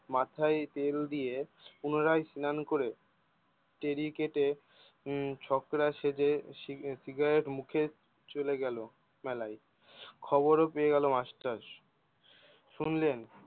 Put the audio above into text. মাথায় তেল দিয়ে পুনরায় স্নান করে হম ছকরা সেজে সি সিগারেট মুখে চলে গেলো মেলায়। খবর ও পেয়ে গেলো মাস্টার শুনলেন